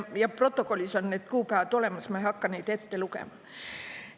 Ja protokollis on need kuupäevad olemas, ma ei hakka neid ette lugema.